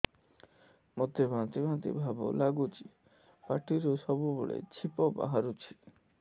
ମୋତେ ବାନ୍ତି ବାନ୍ତି ଭାବ ଲାଗୁଚି ପାଟିରୁ ସବୁ ବେଳେ ଛିପ ବାହାରୁଛି